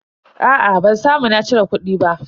Aa ban samu na cire kudi ba.